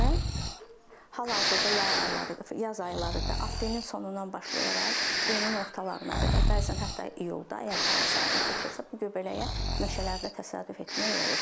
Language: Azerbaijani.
Və hal-hazırda yay ayları, yaz ayları da aprelin sonundan başlayaraq iyunun ortalarına qədər, bəzən hətta iyulda əgər hava sərin keçirsə, bu göbələyə meşələrdə təsadüf etmək olur.